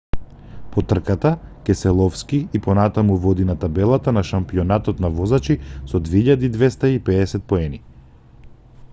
по трката кеселовски и понатаму води на табелата на шампионатот на возачи со 2250 поени